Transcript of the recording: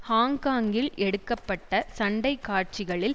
ஹாங்காங்கில் எடுக்க பட்ட சண்டை காட்சிகளில்